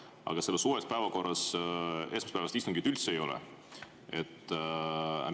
Aga selles uues päevakorras esmaspäevast istungit üldse ei ole.